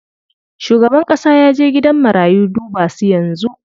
Shugaban ƙasa yaje gidan marayu duba su yanzu.